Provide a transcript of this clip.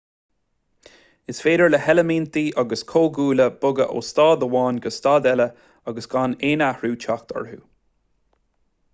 is féidir le heilimintí agus comhdhúile bogadh ó staid amháin go staid eile agus gan aon athrú teacht orthu